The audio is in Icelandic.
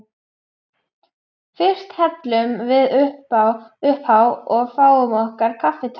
Fyrst hellum við uppá og fáum okkur kaffitár.